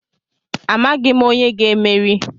Amaghị m onye ga-emeri.